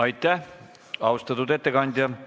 Aitäh, austatud ettekandja!